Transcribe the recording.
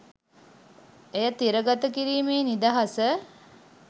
එය තිරගත කිරීමේ නිදහස